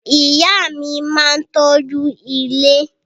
Ìyá mi máa ń tọ́jú ilé